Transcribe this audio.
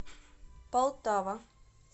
полтава